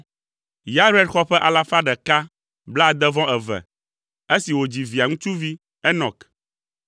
Yared xɔ ƒe alafa ɖeka blaade-vɔ-eve (162) esi wòdzi Via ŋutsuvi Enɔk.